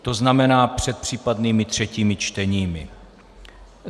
To znamená před případnými třetími čteními.